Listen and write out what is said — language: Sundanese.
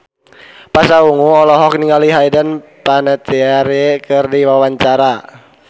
Pasha Ungu olohok ningali Hayden Panettiere keur diwawancara